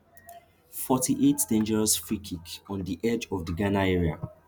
forty-eightdangerous freekick on di edge of di ghana area